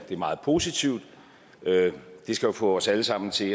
er meget positivt det skal jo få os alle sammen til